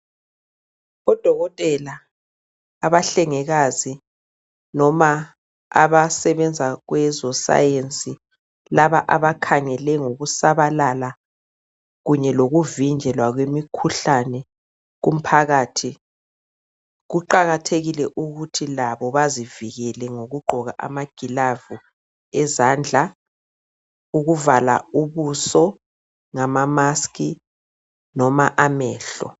Odokotela, abahlengikazi noma abasebenza kwezoScience laba abakhangele ngokusabalala kunye lokuvinjelwa kwemikhuhlane kumphakathi, kuqakathekile ukuthi labo bezivikele ngokugqoka amagilavu ezandla ukuvala ubuzo ngama mask noma amehlo.